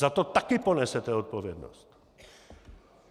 Za to taky ponesete odpovědnost.